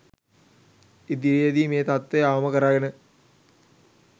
ඉදිරියේ දී මේ තත්ත්වය අවම කරගෙන